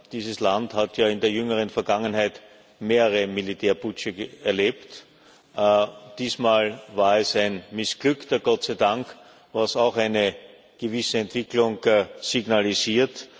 Dieses Land hat ja in der jüngeren Vergangenheit mehrere Militärputsche erlebt diesmal war es ein missglückter Gott sei Dank was auch eine gewisse Entwicklung signalisiert.